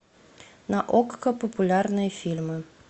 на окко популярные фильмы